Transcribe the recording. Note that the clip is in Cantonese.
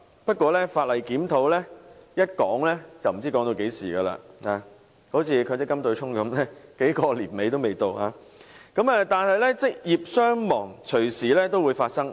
不過法例檢討一說便無了期，正如強積金對沖般經歷數年也未完成，但職業傷亡個案隨時發生。